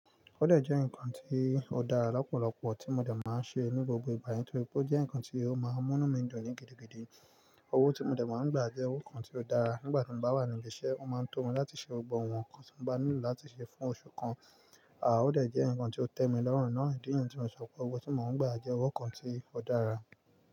Ó dè jẹ́ ǹkan tí ó dára lọ́pọ̀lọpọ̀ tí mo dè máa ń ṣe ní gbogbo ìgbà yẹn, torí pé ó jẹ́ ǹkan tí ó máa ń mú mí ń duní gidi gidi. Owó tí mo dè máa ń gbà jẹ́ owó kan tí ó dára. Nígbà tí mo bá wà ní ibi iṣẹ́, wọ́n máa ń tó mi láti ṣe gbọgbọ́ àwọn nǹkan tí mo bá nílò láti ṣe fún oṣù kan. À ó dè jẹ́ ǹǹkan tí ó tẹ mi lọ́rùn náà, ìdí eyín tí mo sọ pé owó tí mò ń gbà jẹ́ owó kan tí ó dára.